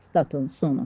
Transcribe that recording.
Statın sonu.